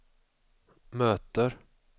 möter